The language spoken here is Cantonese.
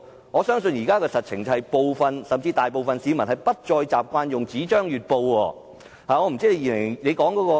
我相信實情是，部分甚至大部分市民不再習慣閱讀報紙。